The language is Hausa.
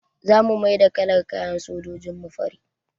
Za mu maida kalar kayan sojojin mu fari